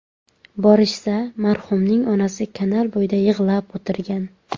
Borishsa, marhumning onasi kanal bo‘yida yig‘lab o‘tirgan.